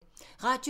Radio 4